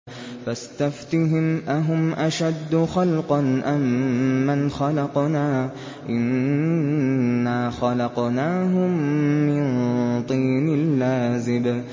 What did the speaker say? فَاسْتَفْتِهِمْ أَهُمْ أَشَدُّ خَلْقًا أَم مَّنْ خَلَقْنَا ۚ إِنَّا خَلَقْنَاهُم مِّن طِينٍ لَّازِبٍ